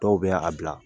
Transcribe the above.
Dɔw bɛ a bila